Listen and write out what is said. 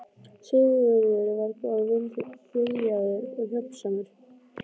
Sigurður var góð- viljaður og hjálpsamur.